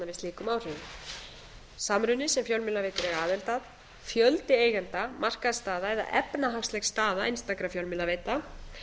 slíkum áhrifum samruni sem fjölmiðlaveitur eiga aðild að fjöldi eigenda markaðsstaða eða efnahagsleg staða einstakra fjölmiðlaveita